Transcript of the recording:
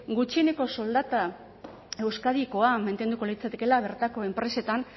gutxieneko soldata euskadikoa mantenduko litzatekeela bertako enpresetan